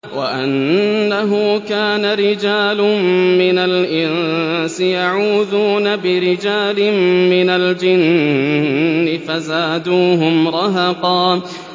وَأَنَّهُ كَانَ رِجَالٌ مِّنَ الْإِنسِ يَعُوذُونَ بِرِجَالٍ مِّنَ الْجِنِّ فَزَادُوهُمْ رَهَقًا